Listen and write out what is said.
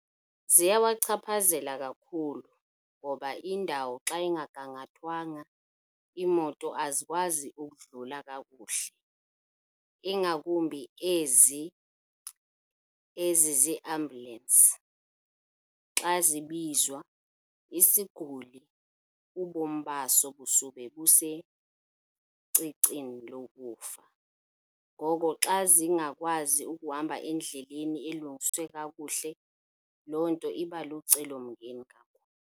Ziyawachaphazela kakhulu ngoba indawo xa ingagangathwanga iimoto azikwazi ukudlula kakuhle, ingakumbi ezi eziziambulensi. Xa zibizwa isiguli ubomi baso busube busecicini lokufa, ngoko xa zingakwazi ukuhamba endleleni elungiswe kakuhle loo nto iba lucelomngeni kakhulu.